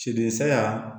Sidɛya